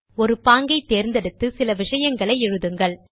ஒரு பாங்கை தேர்ந்தெடுத்து சில விஷயங்கள் எழுதுங்கள்